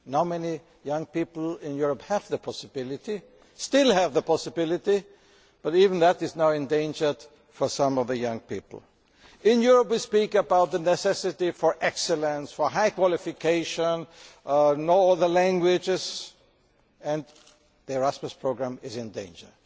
Normally young people in Europe have the possibility still have the possibility but even that is now endangered for some of them. In Europe we speak about the necessity for excellence, for high qualifications, of knowing other languages and the Erasmus programme is in danger.